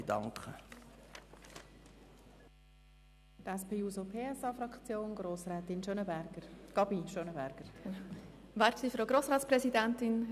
Nun hat Grossrätin Gabi Schönenberger für die SP-JUSO-PSA-Fraktion das Wort.